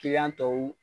tɔw